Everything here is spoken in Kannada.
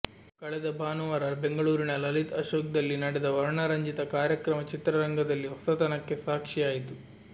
ಕಳೆದ ಭಾನುವಾರ ಬೆಂಗಳೂರಿನ ಲಲಿತ್ ಅಶೋಕ್ ದಲ್ಲಿ ನಡೆದ ವರ್ಣರಂಜಿತ ಕಾರ್ಯಕ್ರಮ ಚಿತ್ರರಂಗದಲ್ಲಿ ಹೊಸತನಕ್ಕೆ ಸಾಕ್ಷಿಯಾಯಿತು